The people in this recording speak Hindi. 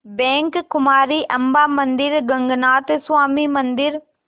बैंक कुमारी अम्मां मंदिर गगनाथा स्वामी मंदिर